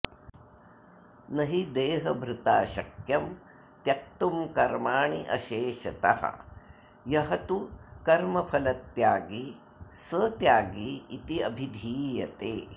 न हि देहभृता शक्यं त्यक्तुं कर्माणि अशेषतः यः तु कर्मफलत्यागी सः त्यागी इति अभिधीयते